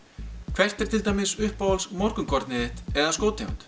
hvert er til dæmis uppáhalds morgunkornið þitt eða